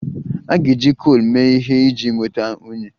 A ga-eji coal mee ihe iji nweta unyi